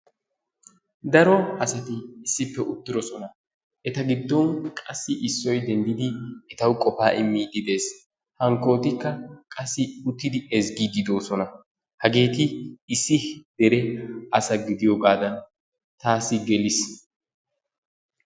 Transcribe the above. Daro asati issippe uttidosona eta giddon qassi issoy denddidi etawu qofaa immiiddi de'ees. Hankkootikka qassi uttidi ezgiiddi doosona. Hageeti issi dere asa gidiyoogaadan taassi geliis.